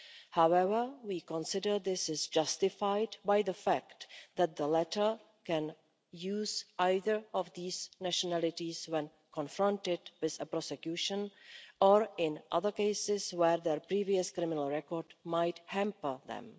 However, we consider this is justified by the fact that the latter can use either of these nationalities when confronted with a prosecution, or in other cases where their previous criminal record might hamper them.